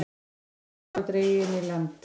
Dauður höfrungur dreginn á land